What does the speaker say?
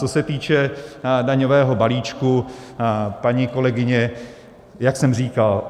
Co se týče daňového balíčku, paní kolegyně, jak jsem říkal.